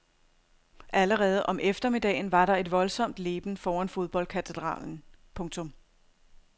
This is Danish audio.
Allerede om eftermiddagen var der et voldsomt leben foran fodboldkatedralen. punktum